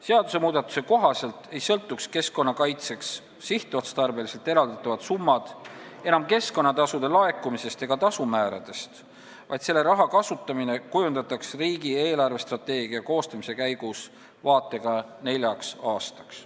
Seadusmuudatuse kohaselt ei sõltuks keskkonnakaitseks sihtotstarbeliselt eraldatavad summad enam keskkonnatasude laekumisest ega tasumääradest, vaid selle raha kasutamine kujundataks riigi eelarvestrateegia koostamise käigus vaatega neljaks aastaks.